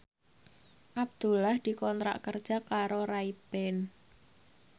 Abdullah dikontrak kerja karo Ray Ban